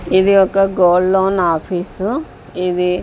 ఇది ఒక gold loan office ఇది--